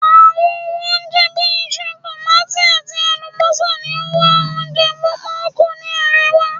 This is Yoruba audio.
awọn ohun onjẹ, bi iṣu, tomati ati alubosa ni o wa owo poku ni arewa